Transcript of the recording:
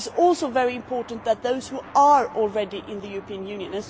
It is also very important to consider those who are already in the European Union.